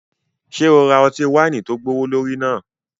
Ṣe o ra ọti-waini tó gbowolori náà?